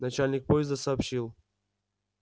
начальник поезда сообщил